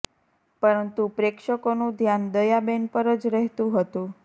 પરંતુ પ્રેક્ષકોનું ધ્યાન દયા બેન પર જ રહેતું હતું